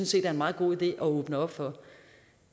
set er en meget god idé at åbne op for